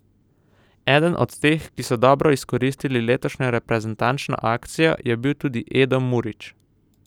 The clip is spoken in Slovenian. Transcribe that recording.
Eden od teh, ki so dobro izkoristili letošnjo reprezentančno akcijo, je bil tudi Edo Murić.